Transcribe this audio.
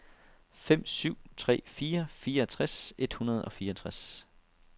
fem syv tre fire fireogtres et hundrede og fireogtres